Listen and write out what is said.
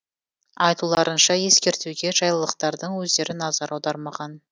айтуларынша ескертуге жайлылықтардың өздері назар аудармаған